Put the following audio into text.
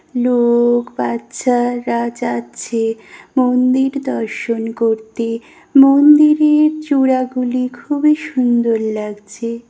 লো-ক- বাচ্চা-রা যাচ্ছে মন্দির দর্শন করতে মন্দিরে-র চূড়াগুলি খুবই সুন্দর লাগছে ।